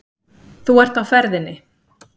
Þú ert á ferðinni.